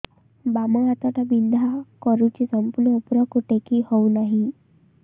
ବାମ ହାତ ଟା ବିନ୍ଧା କରୁଛି ସମ୍ପୂର୍ଣ ଉପରକୁ ଟେକି ହୋଉନାହିଁ